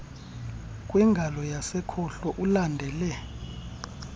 kwingalo yasekhohlo ulandele